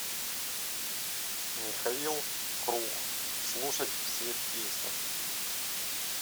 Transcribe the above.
михаил круг слушать все песни